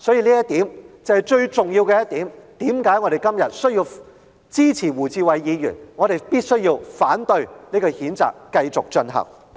這是最重要的一點，解釋了我們今天為何支持胡志偉議員的議案，反對繼續譴責林卓廷議員。